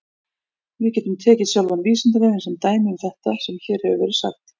Við getum tekið sjálfan Vísindavefinn sem dæmi um þetta sem hér hefur verið sagt.